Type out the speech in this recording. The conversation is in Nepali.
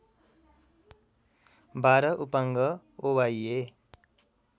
१२ उपाङ्ग ओवाइय